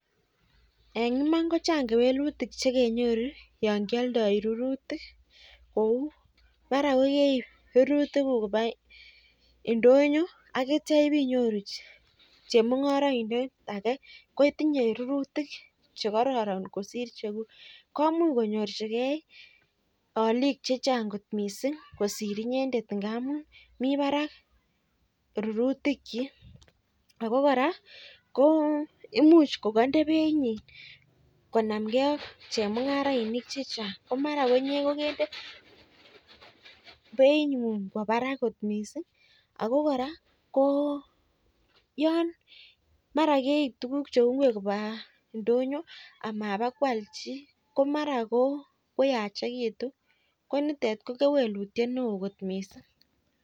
Eng iman ko chan'g kewelutik yon kioldoi rurutik. Eng kokeip rurutik koba ndoyo akitio ibeinyoru chemung'oraindet ake kotinyei rurutik chekororon kosir chekung'et cheguk. Komuch koyorchikei olik checha'g kot mising kosir inyendet ngamun mii barak rurutichi. Ako kora imuch kokainde beinyi konamgeiak chemung'arainik chechan'g ako mara inye ko kende being'yung kowa barak kot mising. Ako kora yon mara keip tukuk cheu ngwek koba ndoyo amapokwol chii ko mara koyachekitu ko nitet ko kewelutiet neo kot mising.